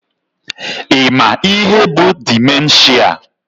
Ị ma ihe bụ dimenshia?